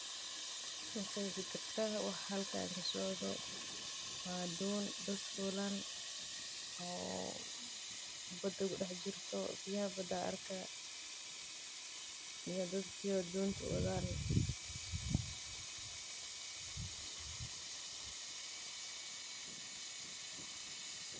maqeexi karta wax halkan kasocdo, waa doon dadk fuulan oo badda kudhex jirto, biyaha badda arkaa iyo dadkiyo doonta wadaan.